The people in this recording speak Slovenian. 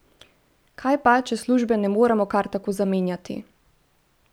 Kaj pa, če službe ne moremo kar tako zamenjati?